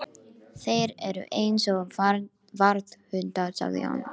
Þeir eru eins og varðhundar sagði hann.